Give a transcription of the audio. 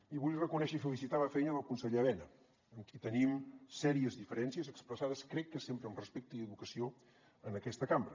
i vull reconèixer i felicitar la feina del conseller elena amb qui tenim serioses diferències expressades crec que sempre amb respecte i educació en aquesta cambra